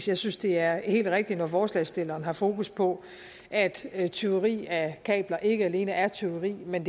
jeg synes det er helt rigtigt når forslagsstillerne har fokus på at at tyveri af kabler ikke alene er tyveri men